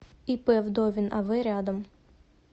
ип вдовин ав рядом